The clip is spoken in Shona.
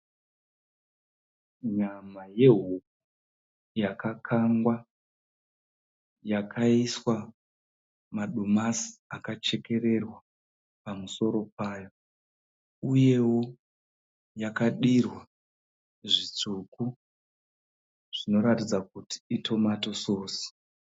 Nyama yehuku yakakangwa yakaiswa madomasi akachekerewa pamusoro payo uyewo yakadirwa zvitsvuku zvinoratidza kuti i tomatoe sauce.